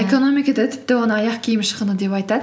экономикада тіпті оны аяқ киім шығыны деп айтады